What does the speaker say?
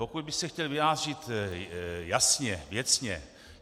Pokud bych se chtěl vyjádřit jasně, věcně.